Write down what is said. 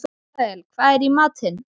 Asael, hvað er í matinn?